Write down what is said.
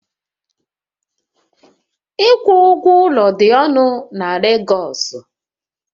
Ịkwụ ụgwọ ụlọ dị ọnụ na Legosu